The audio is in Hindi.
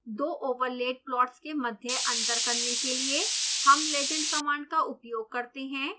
दो ओवरलेड प्लॉट्स के मध्य अंतर करने के लिए हम legend कमांड का उपयोग करते हैं